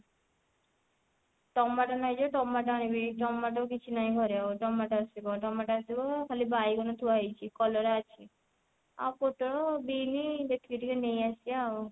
tomato ନାହିଁ ଯେ tomato ଆଣିବି ଟମାଟୋ କିଛି ନାହିଁ ଘରେ ଆଉ ଟମାଟୋ ଆସିବ ଟମାଟୋ ଆସିବ ଖାଲି ବାଇଗଣ ଥୁଆ ହେଇଛି କଲରା ଅଛି ଆଉ ପୋଟଳ ବିନି ଦେଖିକି ଟିକେ ନେଇ ଆସିବା ଆଉ